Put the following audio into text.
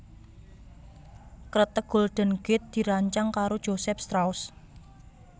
Kreteg Golden Gate dirancang karo Joseph Strauss